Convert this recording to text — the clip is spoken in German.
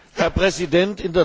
Herr Präsident!